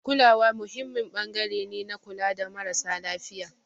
Kulawa muhimmin ɓangare ne na kula da marasa lafiya.